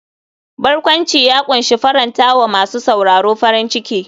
Barkwanci ya kunshi faranta wa masu sauraro farin ciki.